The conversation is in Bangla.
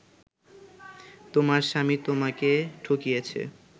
তোমার স্বামী তোমাকে ঠকিয়েছে